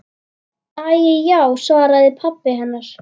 Æi já, svaraði pabbi hennar.